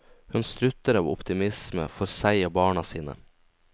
Hun strutter av optimisme for seg og barna sine.